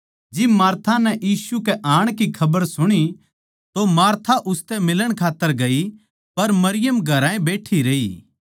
जिब मार्था नै यीशु कै आणै की खबर सुणी तो उसतै मिलण खात्तर गई पर मरियम घरा ए बैठी रही